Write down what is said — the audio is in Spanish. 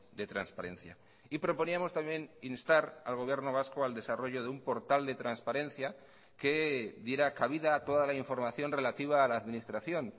de transparencia y proponíamos también instar al gobierno vasco al desarrollo de un portal de transparencia que diera cabida a toda la información relativa a la administración